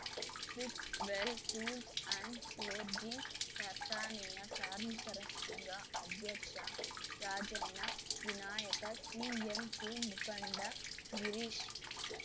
Fitwell tools and forging ಕಾರ್ಖಾನೆಯ ಕಾರ್ಮಿಕರ ಸಂಘ ಅಧ್ಯಕ್ಷ ರಾಜಣ್ಣ ವಿನಾಯಕ ಸಿಎನ್‍ಸಿ ಮುಖಂಡ ಗಿರೀಶ್